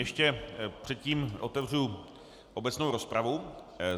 Ještě předtím otevřu obecnou rozpravu.